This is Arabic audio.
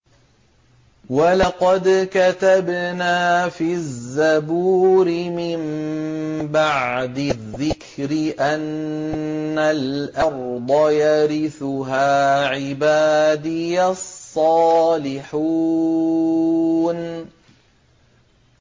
وَلَقَدْ كَتَبْنَا فِي الزَّبُورِ مِن بَعْدِ الذِّكْرِ أَنَّ الْأَرْضَ يَرِثُهَا عِبَادِيَ الصَّالِحُونَ